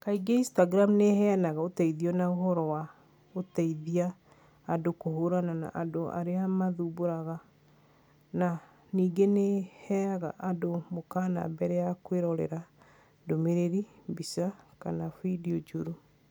Kaingĩ Instagram nĩ ĩheanaga ũteithio na ũhoro wa gũteithia andũ kũhũrana na andũ arĩa mathumbũraga na ningĩ nĩ ĩheaga andũ mũkaana mbere ya kwĩrorera ndũmĩrĩri, mbica, kana findio njũru.